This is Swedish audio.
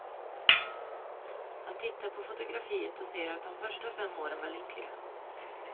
Han tittar på fotografiet och säger att de första fem åren var lyckliga.